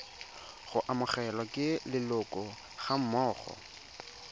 go amogelwa ke leloko gammogo